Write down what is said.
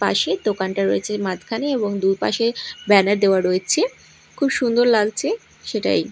পাশেই দোকানটা রয়েছে মাঝখানে এবং দুপাশে ব্যানার দেওয়া রয়েছে খুব সুন্দর লাগছে সেটাই।